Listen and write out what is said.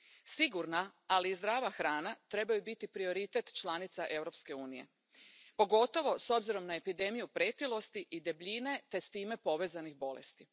Sigurna, ali i zdrava hrana trebaju biti prioritet članica Europske unije, pogotovo s obzirom na epidemiju pretilosti i debljine te s time povezanih bolesti.